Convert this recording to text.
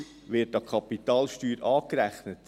Die Gewinnsteuer wird an die Kapitalsteuer angerechnet.